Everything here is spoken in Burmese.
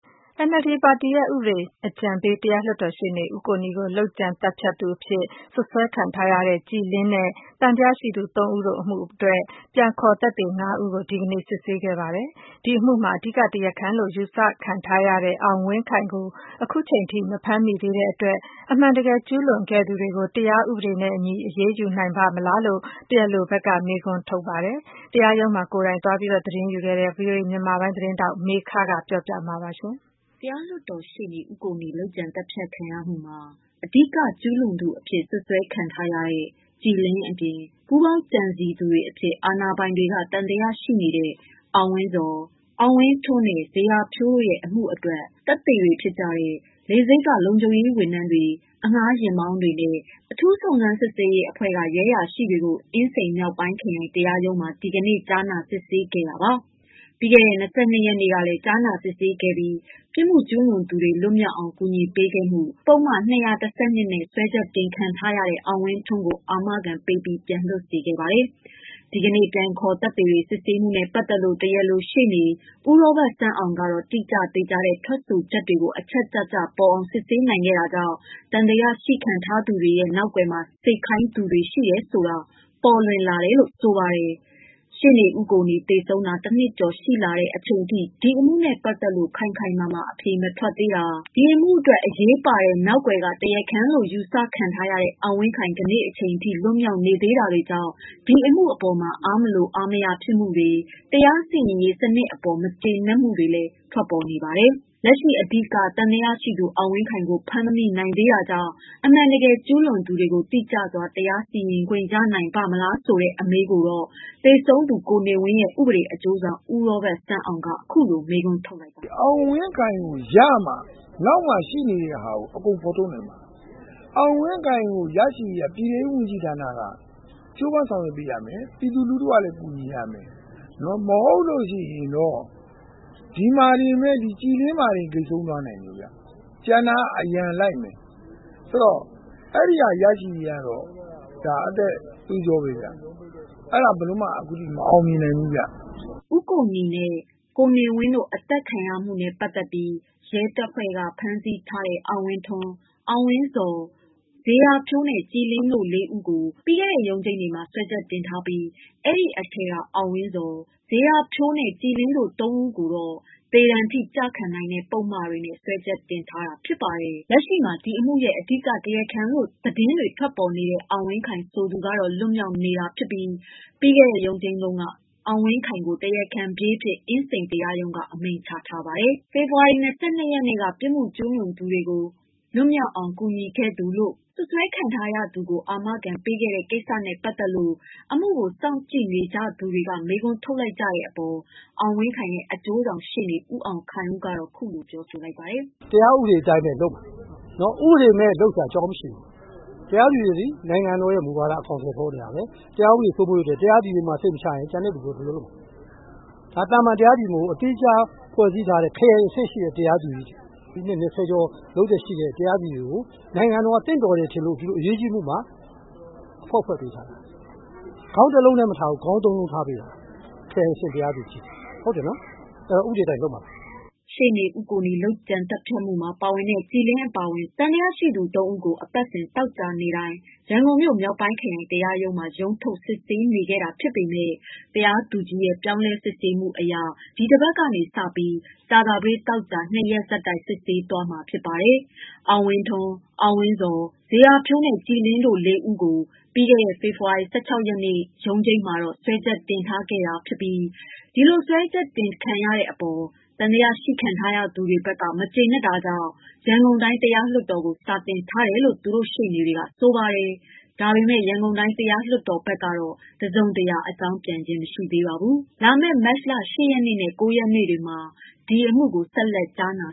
NLD ပါတီရဲ့ ဥပဒေအကြံပေး တရားလွှတ်တော်ရှေ့နေ ဦးကိုနီကို လုပ်ကြံ သတ်ဖြတ်သူအဖြစ် စွပ်စွဲခံထားရတဲ့ ကြည်လင်းနဲ့ သံသယရှိသူ ၃ ဦး တို့အမှုအတွက် ပြန်ခေါ်သက်သေ ၅ဦး ကို ဒီကနေ့စစ်ဆေးခဲ့ပါတယ်။ ဒီအမှုမှာ အဓိက တရားခံလို့ ယူဆခံထားရတဲ့ အောင်ဝင်းခိုင်ကို ခုချိန်ထိ မဖမ်းမိသေးတဲ့အတွက် အမှန်တကယ်ကျူးလွန်ခဲ့သူတွေကို တရားနဲ့အညီ အရေး ယူနိုင်ပါ့မလားလို့ တရားလိုဘက်က မေးခွန်း ထုတ်နေပါတယ်။ အပြည့်အစုံကိုတော့ တရားရုံးမှာ ကိုယ်တိုင် သတင်းသွားယူခဲ့တဲ့ ဗွီအိုအေ မြန်မာပိုင်း သတင်းထောက် မေခကပြောပြပေးမှာပါ။ တရားလွှတ်တော်ရှေ့နေ ဦးကိုနီ လုပ်ကြံသတ်ဖြတ်မှုမှာ အဓိက ကျုးလွန်သူအဖြစ် စွပ်စွဲခံထားရတဲ့ ကြည်လင်း အပြင်၊ ပူးပေါင်းကြံစည်သူတွေ အဖြစ် အာဏာပိုင်တွေက သံသယရှိနေတဲ့ အောင်ဝင်းဇော်၊ အောင်ဝင်းထွန်းနဲ့ ဇေယျာဖြိုးတို့ရဲ့ အမှုအတွက် သက်သေတွေဖြစ်ကြတဲ့ လေဆိပ်က လုံခြုံရေးဝန်ထမ်းတွေ၊ အငှားယာဉ်မောင်းတွေနဲ့ အထူးစုံစမ်းစစ်ဆေးရေး အဖွဲ့က ရဲအရာရှိတွေကို အင်းစိန် မြောက်ပိုင်းခရိုင် တရားရုံးမှာ ဒီကနေ့ ကြားနာ စစ်ဆေးခဲ့တာပါ။ ပြီးခဲ့တဲ့ ၂၂ရက်နေ့ကလည်း ကြားနာစစ်ဆေးခဲ့ပြီး ပြစ်မှုကျူးလွန်သူတွေ လွတ်မြောက်ရေး အကူအညီပေးခဲ့မှု ပုဒ်မ ၂၁၂ နဲ့ စွဲချက်တင်ခံထားရတဲ့ အောင်ဝင်းထွန်းကို အာမခံပေးပြီး ပြန်လွှတ်စေခဲ့ပါတယ်။ ဒီကနေ့ ပြန်ခေါ်သက်သေတွေ စစ်ဆေးမှုနဲ့ပတ်သတ်လို့ တရားလို ရှေ့နေ ဦးရောဘတ်ဆန်းအောင်ကတော့ တိကျသေချာတဲ့ ထွက်ဆိုချက်တွေကို အချက်ကျကျပေါ်အောင် စစ်ဆေးနိုင်ခဲ့တာကြောင့် သံသရရှိခံရသူတွေမှာ နောက်ကွယ်က နေစေခိုင်းသူတွေ ရှိတယ်ဆိုတာပေါ်လွင် လာတယ်လို့ ဆိုပါတယ်။ ရှေ့နေဦးကိုနီ သေဆုံးတာ ၁နှစ်ကျော် ရှိလာတဲ့အချိန်အထိ အမှုနဲ့ပက်သက်လို့ ခိုင်ခိုင်မာမာ အဖြေ မထွက်သေးတာ၊ ဒီအမှုအတွက် အရေးပါတဲ့ နောက်ကွယ်က တရားခံလို့ ယူဆခံထားရတဲ့ အောင်ဝင်းခိုင် ကနေ့အထိ လွတ်မြောက်နေသေးတာတွေကြောင့် ဒီအမှုအပေါ် အားမလို အားမရဖြစ်မှုတွေ၊ တရားစီရင်ရေး စနစ်အပေါ် မကျေနပ်မှုတွေလည်း ထွက်ပေါ်နေပါတယ်။ လက်ရှိ အဓိက သံသရရှိသူ အောင်ဝင်းခိုင်ကို ဖမ်းမမိနိုင်သေးတာကြောင့် အမှန်တကယ် ကျူးလွန်သူတွေကို တိကျစွာ တရားစီရင်ခွင့် ရနိုင်ပါ့မလား ဆိုတဲ့အမေးကို သေဆုံးသူ ကိုနေဝင်းရဲ့ ဥပဒေအကျိုးဆောင် ဦးရောဘတ်ဆန်းအောင်က မေးခွန်းထုတ်လိုက်ပါတယ်။ "အောင်ဝင်းခိုင်ကိုရမှ နောက်မှာရှိနေတဲ့ ဟာတွေဖော်ထုတ်နိုင်မှာ။ အောင်ဝင်းခိုင်ရဖို့ ပြည်တဲရေးဝန်ကြီးဌာနက ကြိုးပမ်းဆောင်ရွက်ပေးရမယ်။ ပြည်သူလူထု ကလည်း ကူညီ မှရမယ်။ မဟုတ်လို့ ရှိ ရင်တော့ ကြည်လင်းမှာတင် ဂိတ်ဆုံးသွားလိမ့်မယ်။ကျန်တာအရံလိုက်မယ်။ အဲဒါရရေးက ဒါအသက်သွေးကြောဘဲ။ အဲဒါက အခုထိ ဘယ်လိုမှမအောင်မြင်နိုင်နေဘူးဗျ" ဦးကိုနီနဲ့ ဦးနေဝင်းတို့ အသတ်ခံရမှုနဲ့ ပတ်သက်ပြီး ရဲတပ်ဖွဲ့က ဖမ်းဆီးထားတဲ့ အောင်ဝင်းထွန်း၊ အောင်ဝင်းဇော်၊ ဇေယျာဖြိုး၊ ကြည်လင်းတို့ ၄ ဦးကို ပြီးခဲ့တဲ့ ရုံးချိန်းမှာ စွဲချက်တင်ထားပြီး အဲဒီအထဲက အောင်ဝင်းဇော်၊ ဇေယျာဖြိုးနဲ့ ကြည်လင်းတို့ သုံးယောက်ကို သေဒဏ်ထိ ကျခံရနိုင်တဲ့ ပုဒ်မတွေနဲ့ စွဲချက် တင်ထားတာ ဖြစ်ပါတယ်။ လက်ရှိမှာ ဒီအမှုရဲ့ အဓိကတရားခံလို့ သတင်းထွက်ပေါ်နေတဲ့ အောင်ဝင်းခိုင် ဆိုသူကတော့ လွတ်မြောက်နေ တာဖြစ်ပြီး ပြီးခဲ့တဲ့ ရုံးချိန်းတုန်းက အောင်ဝင်းခိုင်ကို တရားခံပြေးအဖြစ် အင်းစိန် တရားရုံးက အမိန့်ချထားပါတယ်။ ပြီးခဲ့တဲ့ ဖေဖော်ဝါရီ ၂၂ရက်နေ့က ပြစ်မှုကျူးလွန်သူကို လွတ်မြောက်အောင် ကူညီခဲ့သူလို့ စွဲချက် တင်ခံထားရသူကို အာမခံပေးတဲ့ကိစ္စနဲ့ ပတ်သက်လို ဒီအမှုကို စောင့်ကြည့်နေသူတွေအကြား မေးခွန်းထုတ်နေကြတဲ့အပေါ် အောင်ဝင်းခိုင်ရဲ့ အကျိုးဆောင်ရှေ့နေ ဦးအောင်ခိုင်ဦး ကတော့ ခုလို ဆိုပါတယ်။ "တရားဥပဒေအတိုင်းသွားမှာ။ ဥပဒေမဲ့လုပ်စရာအကြောင်းမရှိပါဘူး။ တရားသူကြီးတွေက နိုင်ငံတော်မူဝါဒအတိုင်း အကောင်အထည်ဖော်နေတာဘဲ။ တရား ဥပဒေစိုးမိုးရေးအတွက် တရားသူကြီးမှစိတ်မချရရင်ဘယ်လိုလုပ်မလဲ။ ဒါသာမန်တရား သူကြီးတွေမဟုတ်ဘူး သီးခြားဖွဲ့ထားတဲ့ ခရိုင်အဆင့်ရှိသူတွေ။ နှစ်၂၀ကျော်လုပ်သက် ရှိတဲ့ တရားသူကြီးတွေကို နိုင်ငံတော်က သင့်တော်လို့ ထင်လို့ဒီလိုအရေးကြီးအမှုမှာ အဖွဲ့ဖွဲ့ထားတာပါ။ ခေါင်း၁လုံးထဲ မထားဘူး။ ခေါင်း ၃လုံးထားထားတယ်။ အဲတော့ ဥပဒေအတိုင်းလုပ်မှာ ။" ရှေ့နေဦးကိုနီ လုပ်ကြံသတ်ဖြတ်မှုမှာ ပါဝင်တဲ့ ကြည်လင်းအပါအဝင် သံသယရှိသူ၃ဦးကို အပတ်စဉ်သောကြာနေ့တိုင်း ရန်ကုန်မြို့၊ မြောက်ပိုင်းခရိုင် တရားရုံးမှာ ရုံးထုတ် စစ်ဆေးနေခဲ့တာ ဖြစ်ပေမဲ့ တရားသူကြီးရဲ့ ပြောင်းလဲစစ်ဆေးမှုအရ ဒီတပတ်ကစပြီး ကြာသပတေး၊ သောကြာ ၂ရက်ဆက်တိုက် စစ်ဆေးသွားမှာ ဖြစ်ပါတယ် အောင်ဝင်းထွန်း၊ အောင်ဝင်းဇော်၊ ဇေယျာဖြိုး၊ ကြည်လင်းတို့ ၄ ဦးကို ပြီးခဲ့တဲ့ ဖေဖော်ဝါရီ ၁၆ ရက်နေ့ ရုံးချိန်းမှာ စွဲချက်တင်ထားတာနဲ့ ပတ်သတ်လို့ သံသယရှိခံ ထားရတဲ့ သူတို့က စွဲချက်တင်တာကို မကျေနပ်လို့ ရန်ကုန်တိုင်း တရားလွှတ်တော်ကို စာတင်ထားတယ်လို့ ဆိုပါတယ်။ ဒါပေမယ့် ရန်ကုန်တိုင်း တရားလွှတ်တော်ဘက်က တစုံတရာ အကြောင်းပြန်ကြားခြင်း မရှိသေးပါဘူး။ လာမယ့် မတ် ၈ရက်နဲ့ ၉ ရက်နေ့တွေမှာ ဒီအမှုကို ဆက်လက် ကြားနာ